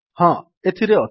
ହଁ ଏଥିରେ ଅଛି